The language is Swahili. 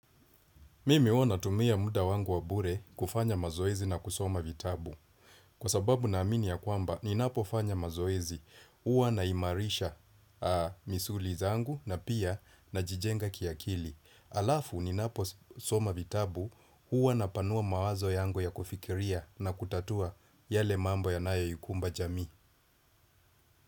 Mimi huwa natumia muda wangu wa bure kufanya mazoezi na kusoma vitabu. Kwa sababu naamini ya kwamba, ninapofanya mazoezi. Huwa na imarisha misuli zangu na pia najijenga kiakili. Alafu, ninaposoma vitabu, huwa napanua mawazo yangu ya kufikiria na kutatua yale mambo yanayoikumba jamii.